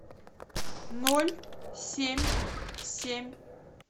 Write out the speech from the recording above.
ноль семь семь